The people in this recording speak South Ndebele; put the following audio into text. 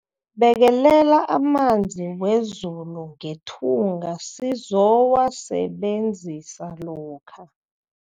Bekelela amanzi wezulu ngethunga sizowasebenzisa lokha.